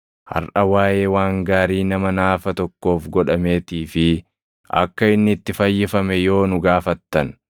Harʼa waaʼee waan gaarii nama naafa tokkoof godhameetii fi akka inni itti fayyifame yoo nu gaafattan,